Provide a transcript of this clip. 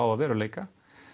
að veruleika